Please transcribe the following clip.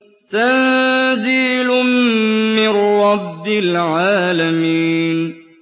تَنزِيلٌ مِّن رَّبِّ الْعَالَمِينَ